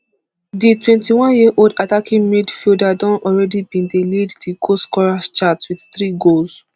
di twenty-one years old attacking midfielder already bin dey lead di goal scorers chart wit three goals